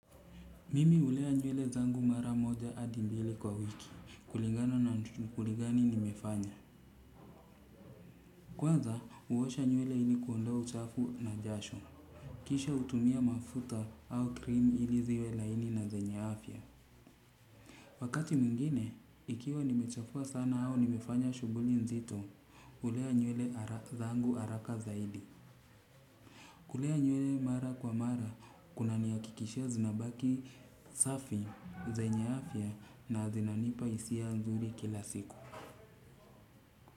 Mimi ulea nywele zangu mara moja adi mbili kwa wiki, kulingana na shukuli gani nimefanya. Kwanza, uwosha nywele hili kuondoa uchafu na jasho. Kisha utumia mafuta au krimi hili ziwe laini na zenye afya. Wakati mwingine, ikiwa nimechafua sana hao nimefanya shuguli nzito, ulea nywele zangu araka zaidi. Kulea nywele mara kwa mara, kuna ni akikishia zinabaki safi, zenye afya na zinanipa isia nzuri kila siku.